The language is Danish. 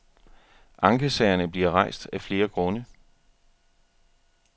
Ankesagerne bliver rejst af flere grunde.